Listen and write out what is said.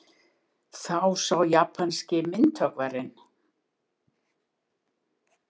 Þá sá japanski myndhöggvarinn